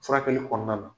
Furakɛli kɔnɔna na